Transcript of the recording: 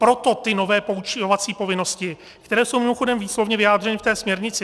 Proto ty nové poučovací povinnosti, které jsou mimochodem výslovně vyjádřeny v té směrnici.